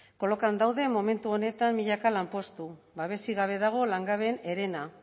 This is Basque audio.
kolokan daude momentu honetan milaka lanpostu babesik gabe dago langabeen herena